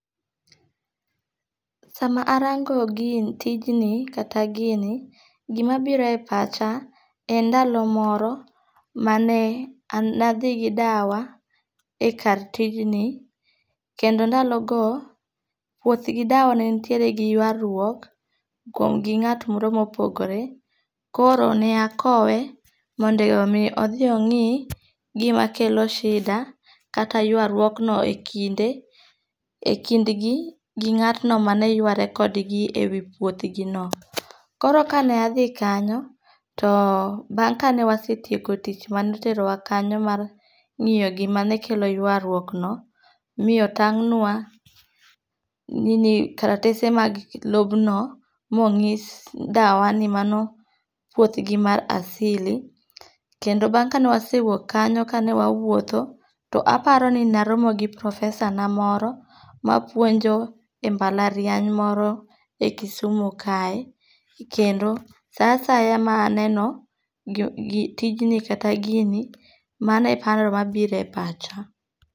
Sama arango gini tijni kata gini, gimabiro e pacha en ndalo moro mane nathi gi dawa e kar tijni kendo ndalogo wuoth gi dawa ne nitiere gi yuaruok kuom gi nga't moro ma opogore, koro ne akowe mondo mi othi ongi' gimakelo shida kata ywaruokno e kinde e kindgi gi nga'tno maneyware kodgi e wi puothgino. koro kane athi kanyo too, bang' kane wasetieko tich mane oterowa kanyono mar ngi'yo gimane kelo ywaruokno, mitotang'wa karatese mag lobno ma onyis dawa ni mano puothgi mar asili kendo bang kane wasewuok kanyo kane wawuotho to aparo ni naromo gi professor na moro, ma puonjo e mbalariany moro e Kisumu kae kendo saasaya ma aneno tijni kata gini mano e paro ma biro e pacha.